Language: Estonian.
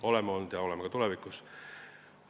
Oleme seda teinud ja teeme ka tulevikus.